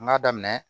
N k'a daminɛ